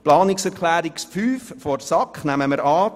Zu Planungserklärung 5 der SAK: Diese nehmen wir an.